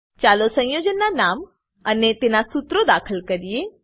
ચાલો સંયોજનના નામ અને તેના સુત્રો દાખલ કરીએ